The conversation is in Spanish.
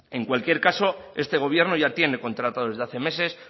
en cualquier caso este gobierno ya tiene contratado desde hace meses